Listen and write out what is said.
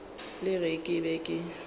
le ge ke be ke